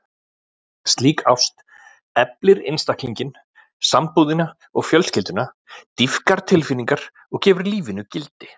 Slík ást eflir einstaklinginn, sambúðina og fjölskylduna, dýpkar tilfinningar og gefur lífinu gildi.